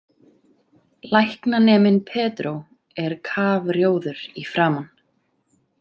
Læknaneminn Pedro er kafrjóður í framan.